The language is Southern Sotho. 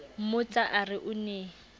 mmotsa a re o ne